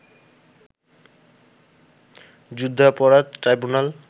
যুদ্ধাপরাধ ট্রাইব্যুনাল